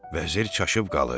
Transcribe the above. Vəzir çaşıb qalır.